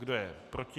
Kdo je proti?